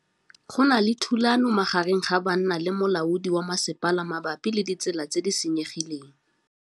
Go na le thulanô magareng ga banna le molaodi wa masepala mabapi le ditsela tse di senyegileng.